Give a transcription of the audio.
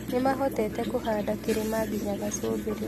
Nĩmahotete kũhanda kĩrĩma nginya gacũmbĩrĩ